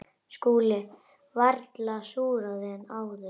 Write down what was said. SKÚLI: Varla súrari en áður.